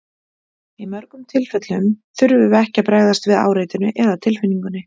Í mjög mörgum tilfellum þurfum við ekki að bregðast við áreitinu eða tilfinningunni.